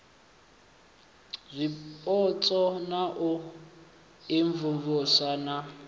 zwipotso na u imvumvusa na